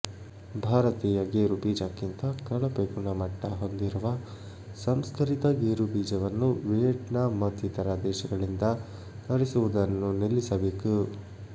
ಭಾರತೀಯ ಗೇರು ಬೀಜಕ್ಕಿಂತ ಕಳಪೆ ಗುಣಮಟ್ಟ ಹೊಂದಿರುವ ಸಂಸ್ಕರಿತ ಗೇರು ಬೀಜವನ್ನು ವಿಯಟ್ನಾಂ ಮತ್ತಿತರ ದೇಶಗಳಿಂದ ತರಿಸುವುದನ್ನು ನಿಲ್ಲಿಸಬೇಕು